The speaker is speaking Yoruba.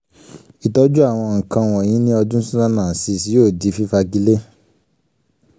ìtọ́jú àwọn nǹkan wọnyìí ní ọdún two thousand and six yóò di fífagilé